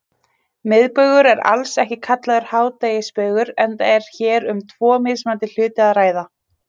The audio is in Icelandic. Miðbaugur er alls ekki kallaður hádegisbaugur enda er hér um tvo mismunandi hluti að ræða.